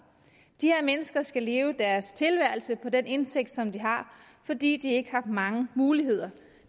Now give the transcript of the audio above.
de her mennesker skal leve deres tilværelse på den indtægt som de har fordi de ikke har mange muligheder